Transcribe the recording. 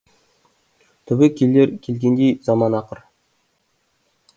түбі келер келгендей заман ақыр